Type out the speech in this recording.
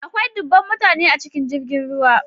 Akwai dubban mutane a cikin jirgin ruwa.